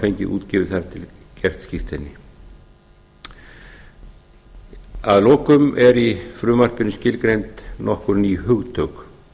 fengið útgefið þar til gert skírteini að lokum eru í frumvarpinu skilgreind nokkur ný hugtök